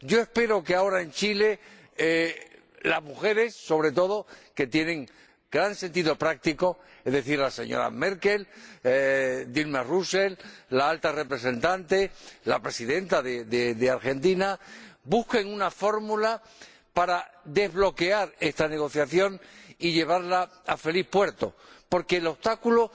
Yo espero que ahora en Chile las mujeres, que tienen gran sentido práctico, es decir, la señora Merkel, Dilma Vana Rousseff, la Alta Representante y la Presidenta de Argentina, busquen una fórmula para desbloquear esta negociación y llevarla a feliz puerto, porque el obstáculo